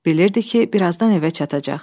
B bilirdi ki, birazdan evə çatacaq.